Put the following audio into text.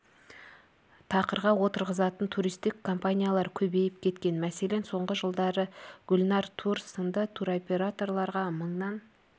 тақырға отырғызатын туристік компаниялар көбейіп кеткен мәселен соңғы жылдары гүлнар тур сынды туроператорларға мыңнан